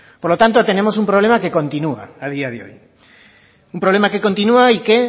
por lo tanto tenemos un problema que continúa a día de hoy un problema que continúa y que